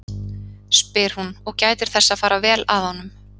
spyr hún og gætir þess að fara vel að honum.